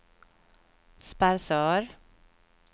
Sparsör